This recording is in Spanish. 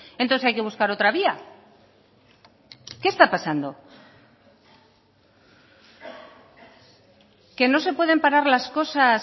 entonces hay que buscar otra vía qué está pasando que no se pueden parar las cosas